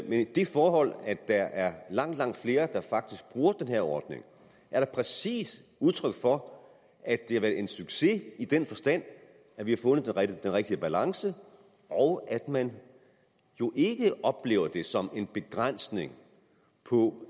men det forhold at der er langt langt flere der faktisk bruger den her ordning er da præcis udtryk for at det har været en succes i den forstand at vi har fundet den rigtige balance og at man jo ikke oplever det som en begrænsning på